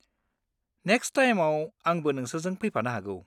Next टाइमआव आंबो नोंसोरजों फैफानो हागौ।